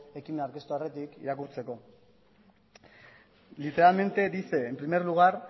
ekimena aurkeztu aurretik irakurtzea literalmente dice en primer lugar